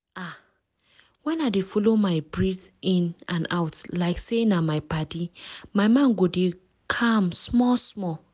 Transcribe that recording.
ah! when i dey follow my breath in and out like say na my padi my mind go dey calm small-small.